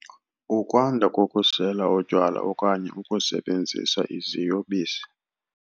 Ukwanda kokusela utywala okanye ukusebenzisa iziyobisi.